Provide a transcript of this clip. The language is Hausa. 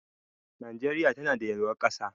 Najeriya tanada yalwar ƙasa.